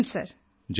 Jai Hind